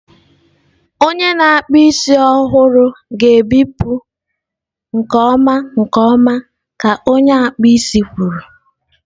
Onye na-akpụ isi ọhụrụ ga-ebipụ nke ọma nke ọma ka onye akpụ isi kwuru.